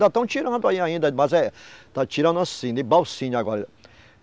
Ainda estão tirando aí ainda, mas é... está tirando assim, de Balsinha agora.